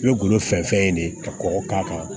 I bɛ golo fɛn fɛn ye de ka kɔgɔ k'a kan